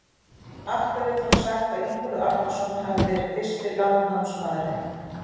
Af hverju er þá sagt að Ingólfur Arnarson hafi verið fyrsti landnámsmaðurinn?